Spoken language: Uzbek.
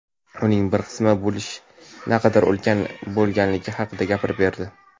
uning bir qismi bo‘lish naqadar ulkan bo‘lganligi haqida gapirib berdi.